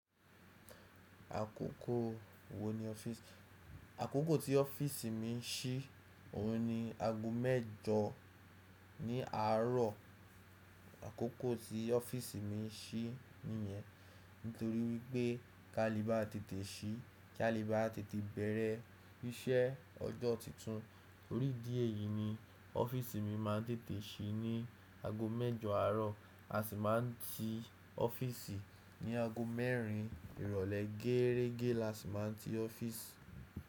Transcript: Àkókò tí ọ́fìsì mi ń sí, òun ni aago mẹ́jọ ní àárọ̀. Àkókò tí ọ́fìsì mi ń sí nìyẹn, nítorí wípé kálíbà tètè sí, kálíbà tètè bẹ̀rẹ̀ iṣẹ́ ọjọ́ titun. Oríìdí èyí ni ọ́fìsì mi má ń tètè sí ní aago mẹ́jọ àárọ̀, a sì má ń ti ọ́fìsì ní aago mẹ́rin ìrọ̀lẹ́ gẹ́ẹ́régé la sì má ń ti ọ́fìsì.